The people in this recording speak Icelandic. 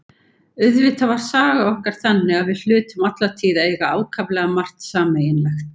Auðvitað var saga okkar þannig að við hlutum alla tíð að eiga ákaflega margt sameiginlegt.